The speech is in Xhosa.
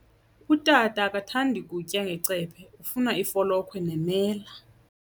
Utata akathandi kutya ngecephe, ufuna ifolokhwe nemela.